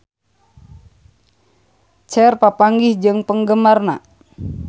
Cher papanggih jeung penggemarna